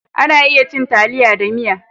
A na iya cin taliya da miya